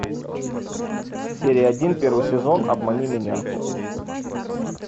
серия один первый сезон обмани меня